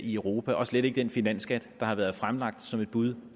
i europa og slet ikke den finansskat der har været fremlagt som et bud